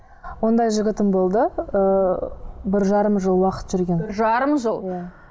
ондай жігітім болды ыыы бір жарым жыл уақыт жүрген бір жарым жыл иә